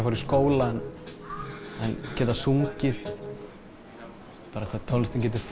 fara í skóla en geta sungið hvað tónlistin getur